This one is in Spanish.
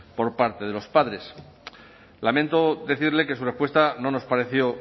por parte de los padres lamento decirle que su respuesta no nos pareció